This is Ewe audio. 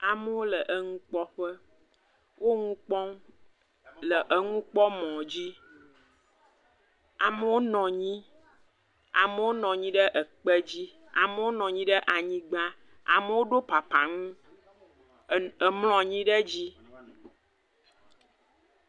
Amewo le enukpɔ ƒe wonu kpɔm le enukpɔmɔ dzi, amewo nɔ anyi amewo nɔ anyi ɖe ekpe dzi amewo nɔ anyi ɖe anyigba amewo ɖo papahu amlɔ anyi ɖe edzi.